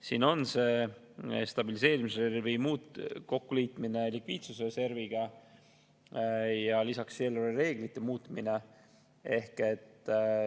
Siin on stabiliseerimisreservi kokku liitmine likviidsusreserviga ja lisaks eelarvereeglite muutmine.